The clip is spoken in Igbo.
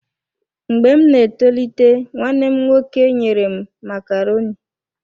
Mgbe m na-etolite, nwanne m nwoke enyere m macaroni.